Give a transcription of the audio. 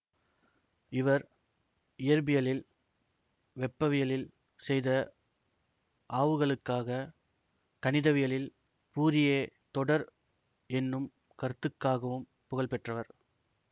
இவர் இயற்பியலில் வெப்பவியலில் செய்த ஆவுகளுக்கா கணிதவியலில் ஃபூரியே தொடர் என்னும் கருத்துக்காகவும் புகழ்பெற்றவர்